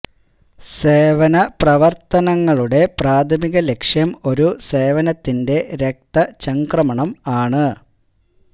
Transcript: സേവന സേവന പ്രവർത്തനങ്ങളുടെ പ്രാഥമിക ലക്ഷ്യം ഒരു സേവനത്തിന്റെ രക്തചംക്രമണം ആണ്